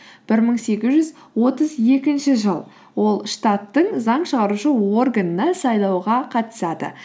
бір мың сегіз жүз отыз екінші жыл ол штаттың заң шығарушы органына сайлауға қатысады